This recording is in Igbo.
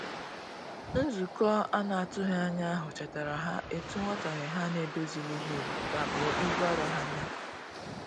Nzukọ anatughi anya ahu chetara ha etu nwotaghe ha n'edozilighi ka bụ ibụ arọ ha nya